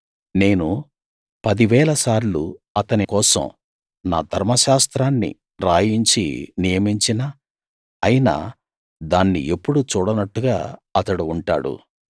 నేను పదివేల సార్లు అతని కోసం నా ధర్మశాస్త్రాన్ని రాయించి నియమించినా అయినా దాన్ని ఎప్పుడూ చూడనట్టుగా అతడు ఉంటాడు